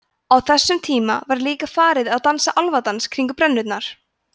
á þessum tíma var líka farið að dansa álfadans kringum brennurnar